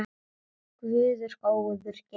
Góður Guð geymi þig.